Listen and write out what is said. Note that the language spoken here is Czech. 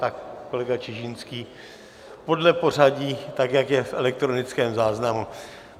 Tak kolega Čižinský, podle pořadí, tak jak je v elektronickém záznamu.